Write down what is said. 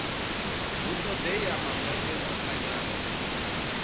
hu ṱoḓea mangwende o thanyaho